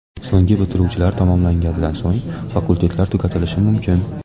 So‘nggi bitiruvchilar tamomlaganidan so‘ng, fakultetlar tugatilishi mumkin.